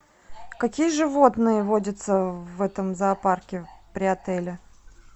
какие животные водятся в этом зоопарке при отеле